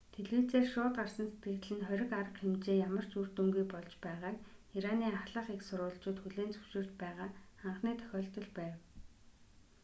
телевизээр шууд гарсан сэтгэгдэл нь хориг арга хэмжээ ямар ч үр дүнгүй болж байгааг ираны ахлах эх сурвалжууд хүлээн зөвшөөрч байгаа анхны тохиолдол байв